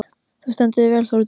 Þú stendur þig vel, Þórdís!